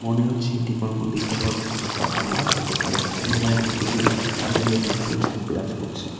মনে হচ্ছে এটি কোনো নদীর চর বা ফাঁকা মাঠ হতে পারে যেখানে প্রকৃতির তার নিজের নিজস্ব ছাপ বিরাজ করছে।